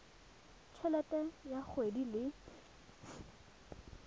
t helete ya kgwedi le